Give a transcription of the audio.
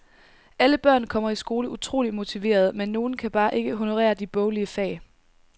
Alle børn kommer i skole utroligt motiverede, men nogen kan bare ikke honorere de boglige fag.